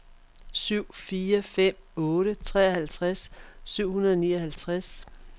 syv fire fem otte treoghalvtreds syv hundrede og nioghalvtreds